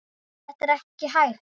Þetta er ekki hægt.